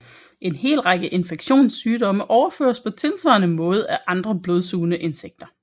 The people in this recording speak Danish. En hel række infektionssygdomme overføres på tilsvarende måde af andre blodsugende insekter